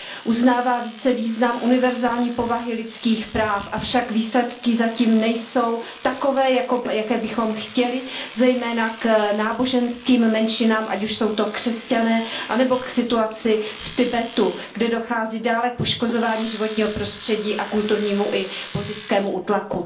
Uznává více význam univerzální povahy lidských práv, avšak výsledky zatím nejsou takové, jaké bychom chtěli, zejména ve vztahu k náboženským menšinám, ať už jsou to křesťané, anebo k situaci v Tibetu, kde dochází dále k poškozování životního prostředí a ke kulturnímu i politickému útlaku.